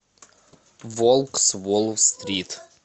волк с уолл стрит